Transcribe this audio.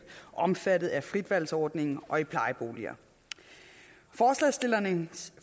omfattet af fritvalgsordningen og i plejeboliger forslagsstillernes